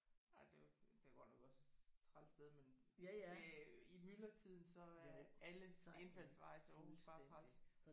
Nej det er også det er godt nok også et træls sted men øh i myldretiden så er alle indfaldsveje til Aarhus bare træls